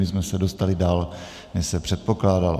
My jsme se dostali dál, než se předpokládalo.